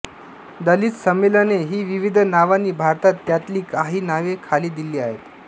दलित संमेलने ही विविध नावांनी भरतात त्यांतली काही नावे खाली दिली आहेत